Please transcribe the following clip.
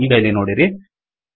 ಈಗ ಇಲ್ಲಿ ನೋಡಿರಿ